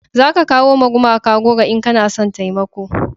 za ka kawo ma gumaka goro in kana son taimako